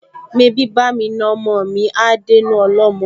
Mebí bá'mi na ọmọ mi á dénú ọlọ́mọ?